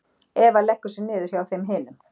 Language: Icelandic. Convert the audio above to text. Eva leggur sig niður hjá þeim hinum.